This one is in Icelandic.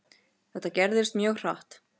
Þetta gerðist mjög hratt.